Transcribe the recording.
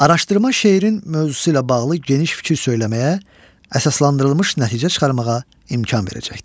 Araşdırma şeirin mövzusu ilə bağlı geniş fikir söyləməyə, əsaslandırılmış nəticə çıxarmağa imkan verəcəkdir.